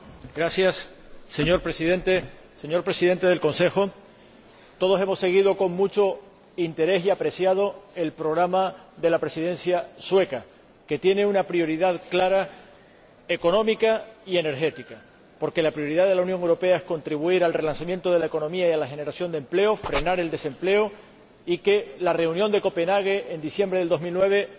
Señor Presidente, señor Presidente del Consejo, todos hemos seguido con mucho interés y apreciado el programa de la Presidencia sueca, que tiene una prioridad económica y energética clara, porque la prioridad de la Unión Europea es contribuir al relanzamiento de la economía y de la generación de empleo, frenar el desempleo y lograr que la reunión de Copenhague, en diciembre de 2009, sea un éxito.